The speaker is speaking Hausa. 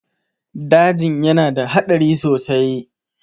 dajin yana da hadari sosai